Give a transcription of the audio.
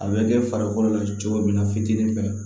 A bɛ kɛ farikolo la cogo min na fitiinin fɛ